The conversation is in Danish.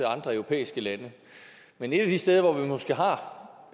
andre europæiske lande men et af de steder hvor vi måske har